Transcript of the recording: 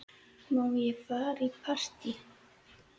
Má ég fara í partí?